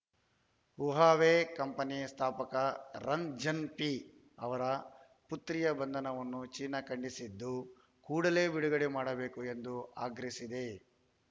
Huawei company ಸ್ಥಾಪಕ Ren Zhengfei ಅವರ ಪುತ್ರಿಯ ಬಂಧನವನ್ನು ಚೀನಾ ಖಂಡಿಸಿದ್ದು ಕೂಡಲೇ ಬಿಡುಗಡೆ ಮಾಡಬೇಕು ಎಂದು ಆಗ್ರಹಿಸಿದೆ